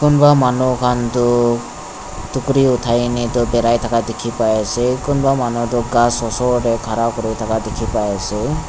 kunva manu khan du tukuri othai neh tu birai thaka dikhi pai ase kunba manu tu ghas osor tey khara kuri thaka dikhi pai ase.